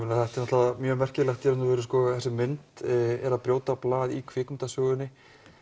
þetta er náttúrulega mjög merkilegt í raun og veru þessi mynd er að brjóta blað í kvikmyndasögunni